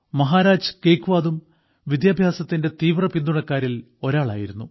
മഹാരാജ് ഗേക്വാദും വിദ്യാഭ്യാസത്തിന്റെ തീവ്രപിന്തുണക്കാരിൽ ഒരാളായിരുന്നു